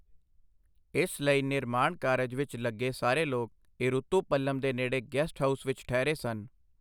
ਇਸ ਲਈ ਨਿਰਮਾਣ ਕਾਰਜ ਵਿੱਚ ਲੱਗੇ ਸਾਰੇ ਲੋਕ ਈਰੂਤੂ ਪੱਲਮ ਦੇ ਨੇੜੇ ਗੈਸਟ ਹਾਊਸ ਵਿੱਚ ਠਹਿਰੇ ਸਨ।